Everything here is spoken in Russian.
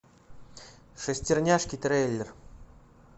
шестерняшки трейлер